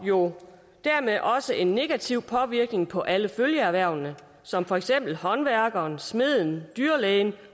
jo dermed også en negativ påvirkning på alle følgeerhvervene som for eksempel håndværkeren smeden dyrlægen